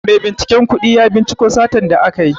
Maibinciken kudi ya cinciko satan da aka yi.